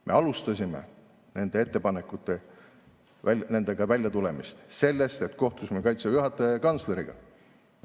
Me alustasime nende ettepanekutega väljatulemist sellest, et kohtusime Kaitseväe juhataja ja kantsleriga.